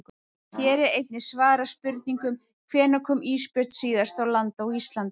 Hér er einnig svarað spurningunum: Hvenær kom ísbjörn síðast á land á Íslandi?